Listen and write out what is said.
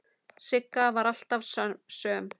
Sigga var alltaf söm.